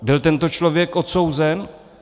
Byl tento člověk odsouzen?